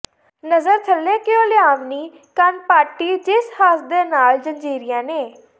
ਨਜ਼ਰ ਥੱਲੇ ਕਿਉਂ ਲਿਆਵਣੀ ਕੰਨ ਪਾਟੀ ਜਿਸਦ ਹੱਸ ਦੇ ਨਾਲ ਜ਼ੰਜੀਰੀਆਂ ਨੇ